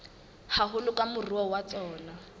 haholo ke moruo wa tsona